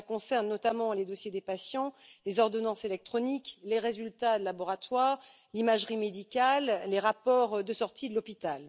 Cela concerne notamment les dossiers des patients, les ordonnances électroniques, les résultats de laboratoire, l'imagerie médicale, les rapports de sortie de l'hôpital.